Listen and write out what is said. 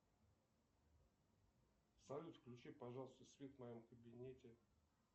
салют включи пожалуйста свет в моем кабинете